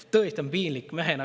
Tõesti on piinlik!